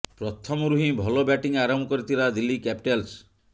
ପ୍ରଥମରୁ ହିଁ ଭଲ ବ୍ୟାଟିଂ ଆରମ୍ଭ କରିଥିଲା ଦିଲ୍ଲୀ କ୍ୟାପିଟାଲ୍ସ